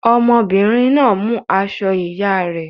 Ọmọbìnrin náà mú aṣọ ìyá rẹ̀.